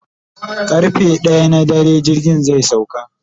karfe ɗaya na dare jirgin zai sauka